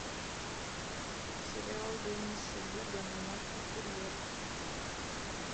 сериал денниса дугана наркокурьер